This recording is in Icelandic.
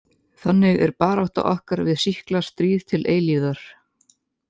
Þannig er barátta okkar við sýkla stríð til eilífðar.